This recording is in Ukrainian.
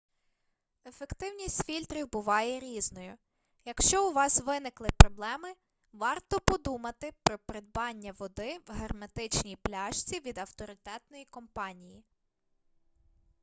ефективність фільтрів буває різною якщо у вас виникли проблеми варто подумати про придбання води в герметичній пляшці від авторитетної компанії